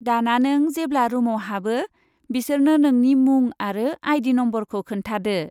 दाना, नों जेब्ला रुमआव हाबो बिसोरनो नोंनि मुं आरो आइ.डि. नमबरखौ खोन्थादो।